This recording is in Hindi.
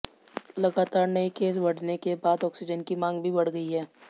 लगातार नए केस बढ़ने के बाद ऑक्सीजन की मांग भी बढ़ गई है